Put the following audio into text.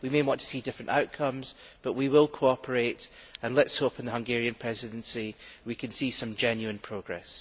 we may want to see different outcomes but we will cooperate, and let us hope in the Hungarian Presidency we can see some genuine progress.